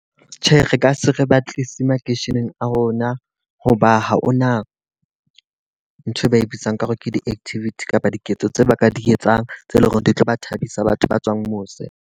Tjhe, re ka se re batlisise makeisheneng a rona. Hoba ha hona nthwe ba e bitsang ka hore ke di-activity kapa diketso tse ba ka di etsang tse leng hore di tlo ba thabisa batho ba tswang mose.